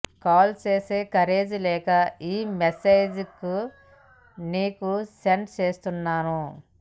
call చేసే courage లేక ఈ మెసేజ్లేఖ నీకు సెండ్ చేస్తున్నాను